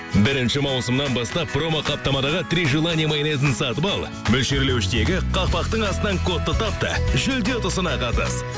бірінші маусымнан бастап промо қаптамадағы три желания майонезін сатып ал мөлшерлеуіштегі қақпақтың астынан кодты тап та жүлде ұтысына қатыс